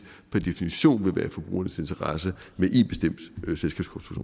per definition vil være i forbrugernes interesse